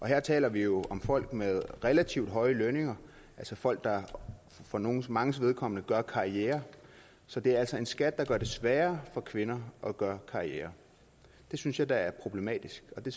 her taler vi jo om folk med relativt høje lønninger altså folk der for manges manges vedkommende gør karriere så det er altså en skat der gør det sværere for kvinder at gøre karriere det synes jeg da er problematisk og det